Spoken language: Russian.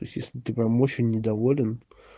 естественно ты прямо очень недоволен